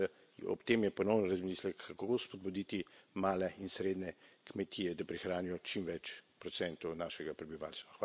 In mislim, da je ob tem ponovno v razmislek, kako spodbuditi male in srednje kmetije, da prehranijo čim več procentov našega prebivalstva.